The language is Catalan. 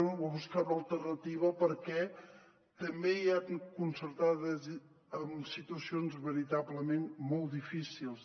o buscar una alternativa perquè també hi ha concertades amb situacions veritablement molt difícils